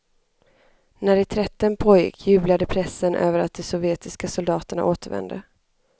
När reträtten pågick jublade pressen över att de sovjetiska soldaterna återvände.